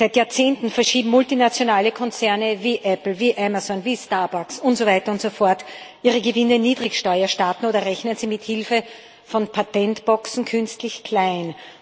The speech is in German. Seit Jahrzehnten verschieben multinationale Konzerne, wie Apple, wie Amazon, wie Starbucks und so weiter und so fort, ihre Gewinne in Niedrigsteuerstaaten oder rechnen sie mit Hilfe von Patentboxen künstlich klein.